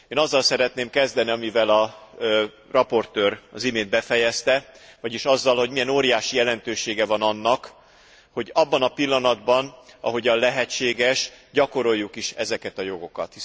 Én azzal szeretném kezdeni, amivel az előadó az imént befejezte, vagyis azzal, hogy milyen óriási jelentősége van annak, hogy abban a pillanatban ahogyan lehetséges, gyakoroljuk is ezeket a jogokat.